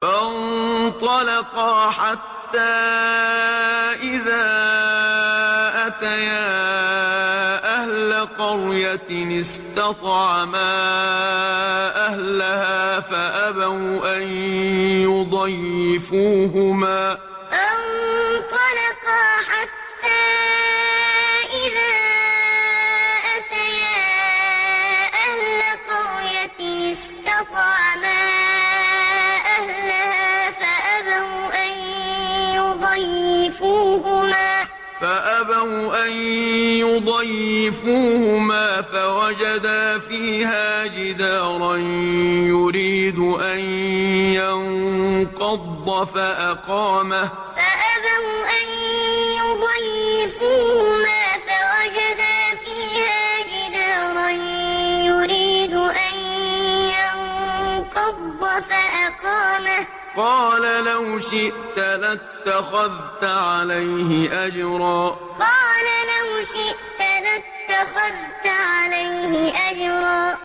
فَانطَلَقَا حَتَّىٰ إِذَا أَتَيَا أَهْلَ قَرْيَةٍ اسْتَطْعَمَا أَهْلَهَا فَأَبَوْا أَن يُضَيِّفُوهُمَا فَوَجَدَا فِيهَا جِدَارًا يُرِيدُ أَن يَنقَضَّ فَأَقَامَهُ ۖ قَالَ لَوْ شِئْتَ لَاتَّخَذْتَ عَلَيْهِ أَجْرًا فَانطَلَقَا حَتَّىٰ إِذَا أَتَيَا أَهْلَ قَرْيَةٍ اسْتَطْعَمَا أَهْلَهَا فَأَبَوْا أَن يُضَيِّفُوهُمَا فَوَجَدَا فِيهَا جِدَارًا يُرِيدُ أَن يَنقَضَّ فَأَقَامَهُ ۖ قَالَ لَوْ شِئْتَ لَاتَّخَذْتَ عَلَيْهِ أَجْرًا